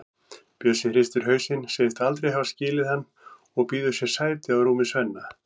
Bjössi hristir hausinn, segist aldrei hafa skilið hann og býður sér sæti á rúmi Svenna.